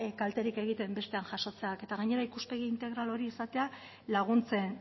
kalterik egiten bestean jasotzeak eta gainera ikuspegi integral hori izatea laguntzen